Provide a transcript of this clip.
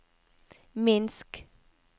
Minsk